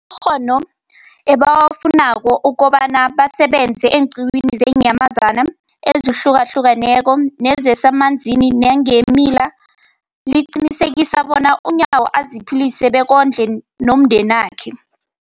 ghono ebawafunako ukobana basebenze eenqiwini zeenyamazana ezihlukahlukeneko nezemanzini nangeemila, liqinisekisa bona uNyawo aziphilise bekondle nomndenakhe.